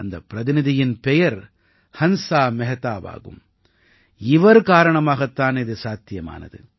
அந்தப் பிரதிநிதியின் பெயர் ஹன்ஸா மெஹ்தாவாகும் இவர் காரணமாகத் தான் இது சாத்தியமானது